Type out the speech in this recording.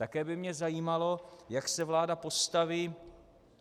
Také by mě zajímalo, jak se vláda postaví